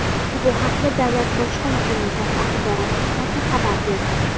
Bu haqda Davlat bojxona qo‘mitasi Axborot xizmati xabar berdi.